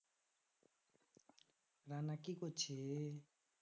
রানা কি করছিস?